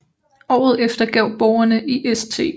Året efter gav borgerne i St